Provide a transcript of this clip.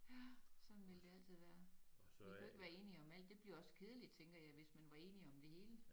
Ja sådan vil det altid være vi kan ikke være enige om alt det bliver også kedeligt tænker jeg hvis man var enige i det hele